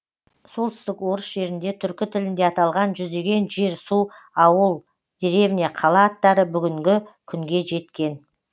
солтүстік орыс жерінде түркі тілінде аталған жүздеген жер су ауыл деревня қала аттары бүгінгі күнге жеткен